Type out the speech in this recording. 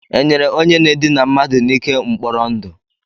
E nyere onye na-edina mmadu n'ike mkpọrọ ndụ?